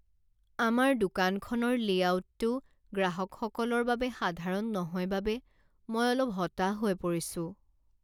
আমাৰ দোকানখনৰ লে'আউটটো গ্ৰাহকসকলৰ বাবে সাধাৰণ নহয় বাবে মই অলপ হতাশ হৈ পৰিছোঁ।